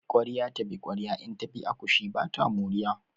Ƙwarya ta bi ƙwarya in ta bi akushi ba ta moriya.